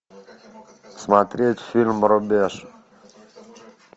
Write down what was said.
смотреть фильм рубеж